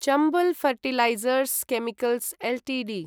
Chambal fertilisers chemicals Ltd